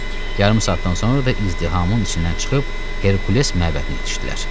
Yarım saatdan sonra da izdihamın içindən çıxıb Herkules məbədinə yetişdilər.